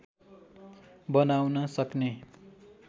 बनाउन सक्ने